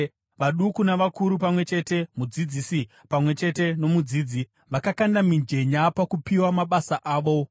Vaduku navakuru pamwe chete, mudzidzisi pamwe chete nomudzidzi, vakakanda mijenya pakupiwa mabasa avo.